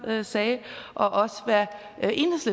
sagde og også